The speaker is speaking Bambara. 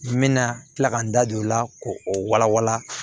N bɛna tila ka n da don o la k'o o walawala